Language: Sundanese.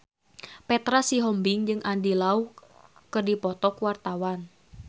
Petra Sihombing jeung Andy Lau keur dipoto ku wartawan